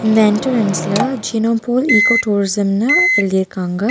இந்த என்ட்ரன்ஸ்ல ஜெனோபூல் ஈக்கோ டூரிசமுன்னு எழுதிருக்காங்க.